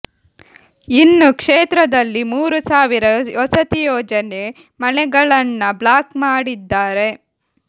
ಇನ್ನು ಕ್ಷೇತ್ರದಲ್ಲಿ ಮೂರು ಸಾವಿರ ವಸತಿ ಯೋಜನೆ ಮನೆಗಳನ್ನ ಬ್ಲಾಕ್ ಮಾಡಿದ್ದಾರೆ